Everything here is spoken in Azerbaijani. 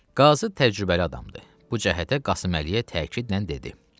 Qazı təcrübəli adamdır, bu cəhətə Qasıməliyə təkidlə dedi.